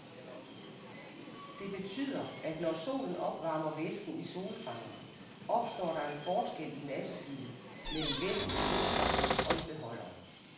Det betyder, at når solen opvarmer væsken i solfangeren, opstår der en forskel i massefylde mellem væsken i solfangeren og i beholderen.